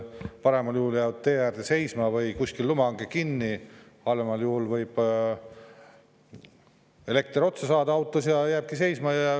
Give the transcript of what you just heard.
Paremal juhul jäävad tee äärde seisma või kuskil lumehange kinni, halvemal juhul võib elekter otsa saada autos ja auto jääbki seisma.